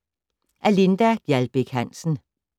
Af Linda Gjaldbæk Hansen